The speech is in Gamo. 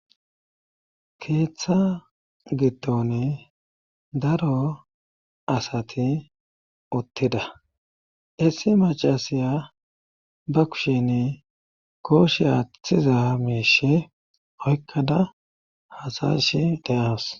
keeththa gitton daro asati uttida issi macasiya ba kushin kooshe aththiza miishe oykkada hasayish de7as